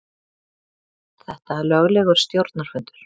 Er þetta löglegur stjórnarfundur?